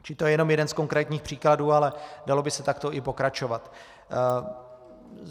Čili to je jenom jeden z konkrétních příkladů, ale dalo by se takto i pokračovat.